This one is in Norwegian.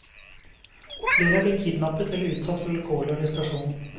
Flere er blitt kidnappet eller utsatt for vilkårlig arrestasjon.